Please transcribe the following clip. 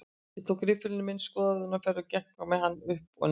Ég tók riffilinn minn í skoðunarferð, gekk með hann upp og nið